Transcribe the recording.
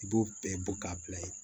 I b'o bɛɛ bɔ k'a bila ye